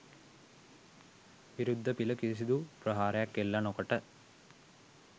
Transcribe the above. විරුද්ධ පිළ කිසිදු ප්‍රහාරයක් එල්ල නොකොට